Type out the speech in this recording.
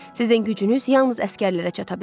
Sizin gücünüz yalnız əsgərlərə çata bilər.